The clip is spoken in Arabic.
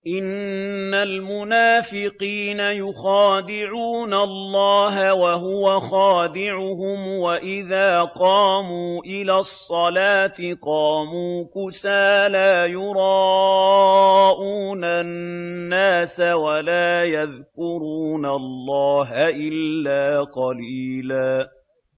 إِنَّ الْمُنَافِقِينَ يُخَادِعُونَ اللَّهَ وَهُوَ خَادِعُهُمْ وَإِذَا قَامُوا إِلَى الصَّلَاةِ قَامُوا كُسَالَىٰ يُرَاءُونَ النَّاسَ وَلَا يَذْكُرُونَ اللَّهَ إِلَّا قَلِيلًا